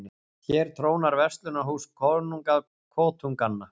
Hér trónar verslunarhús, konunga kotunganna.